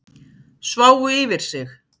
Sváfu yfir sig